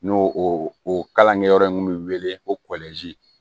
N'o o kalankɛyɔrɔ in kun bɛ wele ko